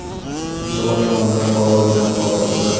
Yunusobod tumanida fuqaro uyidan qurol topildi.